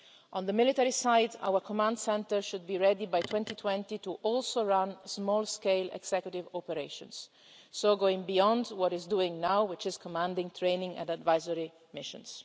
On the military side, our command centre should also be ready by 2020 to run small-scale executive operations, so going beyond what it is doing now, which is commanding training and advisory missions.